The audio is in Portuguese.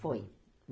Foi.